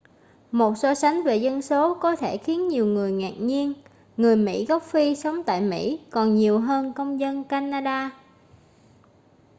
một so sánh về dân số có thể khiến nhiều người ngạc nhiên người mỹ gốc phi sống tại mỹ còn nhiều hơn công dân canada